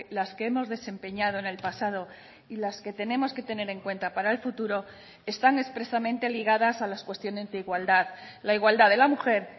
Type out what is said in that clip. las que hemos desempeñado en el pasado y las que tenemos que tener en cuenta para el futuro están expresamente ligadas a las cuestiones de igualdad la igualdad de la mujer